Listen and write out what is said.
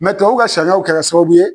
tubabuw ka sariyaw kɛra sababu ye